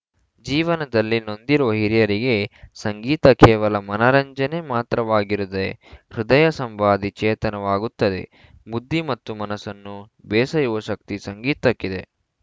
ಜೀವನದಲ್ಲಿ ನೊಂದಿರುವ ಹಿರಿಯರಿಗೆ ಸಂಗೀತ ಕೇವಲ ಮನರಂಜನೆ ಮಾತ್ರವಾಗಿರದೆ ಹೃದಯ ಸಂವಾದಿ ಚೇತನವಾಗುತ್ತದೆ ಬುದ್ಧಿ ಮತ್ತು ಮನಸ್ಸನ್ನು ಬೇಸೆಯುವ ಶಕ್ತಿ ಸಂಗೀತಕ್ಕಿದೆ